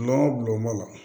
Nɔnɔ bulon la